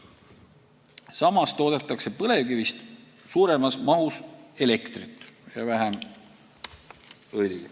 Samas toodetakse põlevkivist suuremas mahus elektrit ja vähem õli.